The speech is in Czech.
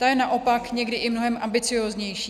Ta je naopak někdy i mnohem ambicióznější.